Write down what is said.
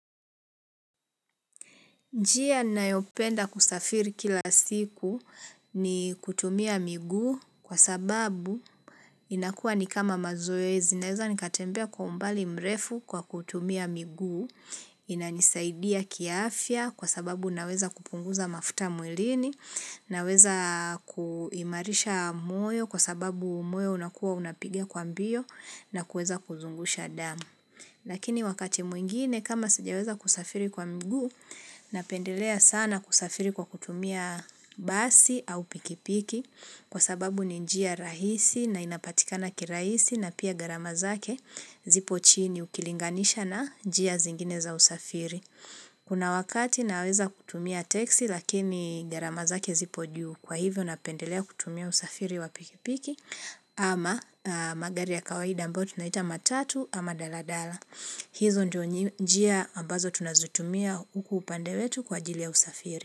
Njia ninayopenda kusafiri kila siku ni kutumia miguu kwa sababu inakuwa ni kama mazoezi. Naweza nikatembea kwa umbali mrefu kwa kutumia miguu. Inanisaidia kiafya kwa sababu naweza kupunguza mafuta mwilini. Naweza kuimarisha moyo kwa sababu moyo unakuwa unapiga kwa mbio na kuweza kuzungusha damu. Lakini wakati mwingine kama sijaweza kusafiri kwa mguu, napendelea sana kusafiri kwa kutumia basi au pikipiki kwa sababu ni njia rahisi na inapatikana kirahisi na pia gharama zake zipo chini ukilinganisha na njia zingine za usafiri. Kuna wakati naweza kutumia teksi lakini gharama zake zipo juu, kwa hivyo napendelea kutumia usafiri wa pikipiki ama magari ya kawaida ambayo tunaita matatu ama daladala. Hizo ndiyo njia ambazo tunazitumia huku upande wetu kwa ajli ya usafiri.